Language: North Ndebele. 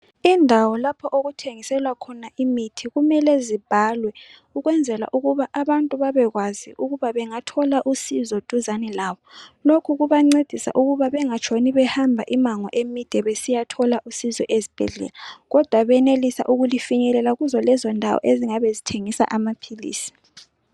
Indawo lapho okuthengiselwa khona imithi kumele zibhalwe ukwenzela ukuba abantu babekwazi ukuba bengathola usizo duzane labo lokhu kubancedisa ukuba bengatshoni behamba imango emide besiyathola usizo ezibhedlela kodwa benelisa ukulifinyelela kuzo lezo ndawo ezingabe zithengisa amaphilisi.